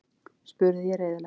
spurði ég reiðilega.